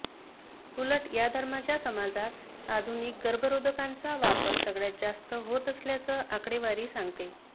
उलट या धर्माच्या समाजात आधुनिक गर्भरोधकांचा वापर सगळ्यात जास्त होत असल्याचं आकडेवारी सांगते